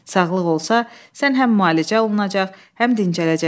Sağlıq olsa, sən həm müalicə olunacaq, həm dincələcəksən.